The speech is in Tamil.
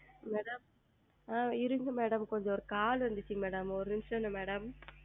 Madam இருங்கள் Madam கொஞ்சம் ஓர் Call வந்துச்சு Madam ஓர் நிமிடம்ங்க Madam